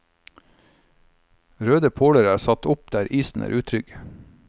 Røde påler er satt opp der isen er utrygg.